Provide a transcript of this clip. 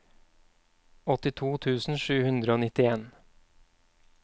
åttito tusen sju hundre og nittien